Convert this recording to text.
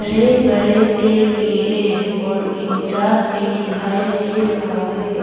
बड़े बड़े पेड़ भी हैं और एक साथ भी दिखाई दे रहा है।